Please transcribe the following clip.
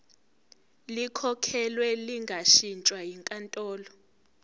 likhokhelwe lingashintshwa yinkantolo